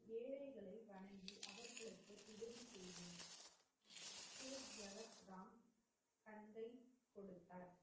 ராம் தந்தை குடுத்தார்,